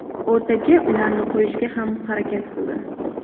O‘rtaga ularni qo‘yishga ham harakat qildi.